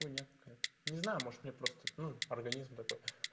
хуйня какая-то не знаю может мне просто ну организм такой